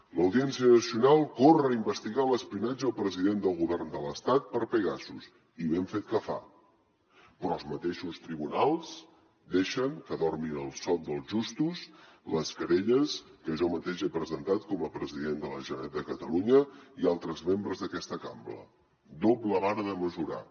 l’audiència nacional corre a investigar l’espionatge al president del govern de l’estat per pegasus i ben fet que fa però els mateixos tribunals deixen que dormin el son dels justos les querelles que jo mateix he presentat com a president de la generalitat de catalunya i altres membres d’aquesta cambra doble vara de mesurar